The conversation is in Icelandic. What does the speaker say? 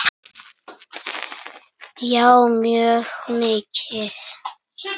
Já mjög mikið.